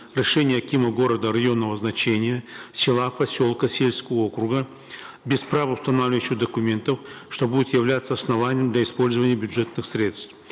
решения акима города районного значения села поселка сельского округа без правоустанавливающих документов что будет являться основанием для использования бюджетных средств